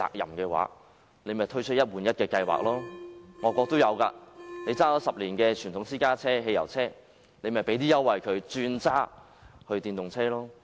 仿效外國的做法，政府對10年車齡的傳統私家車、汽油車提供優惠，鼓勵車主轉用電動車。